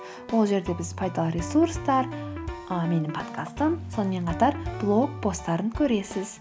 ол жерде біз пайдалы ресурстар ы менің подкастым сонымен қатар блог посттарын көре аласыз